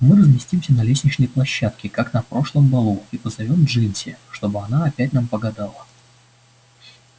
мы разместимся на лестничной площадке как на прошлом балу и позовём джинси чтобы она опять нам погадала